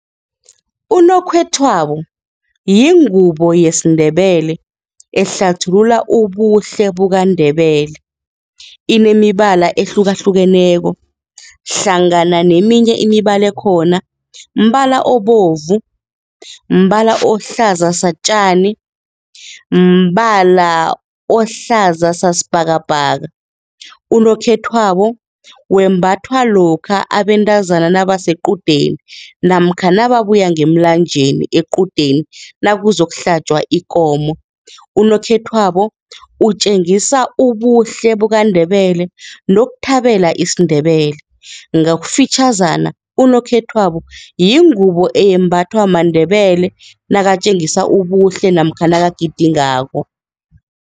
Unokhethwabo yingubo yesiNdebele ehlathulula ubuhle bukaNdebele, enemibala ehlukahlukeneko, hlangana neminye imibala ekhona, mbala obovu, mbala ohlaza-satjani, mbala ohlaza sasibhakabhaka. Unokhethwabo wembathwa lokha abentazana nabasequdeni namkha nababuya ngemlanjeni equdeni nakuza yokuhlatjwa ikomo. Unokhethwabo utjengisa ubuhle bukaNdebele nokuthabela isiNdebele, ngokufitjhazana unokhethwabo yingubo eyembathwa maNdebele nakatjengisa ubuhle namkha nabagidingako.